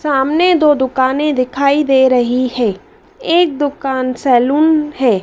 सामने दो दुकानें दिखाई दे रही है एक दुकान सैलून है।